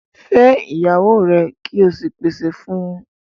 Fẹ́ iyàwọ́ rẹ̀ kí ó sì pèsè fún ọ̀!